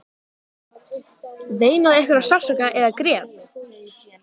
Veinaði einhver af sársauka eða grét?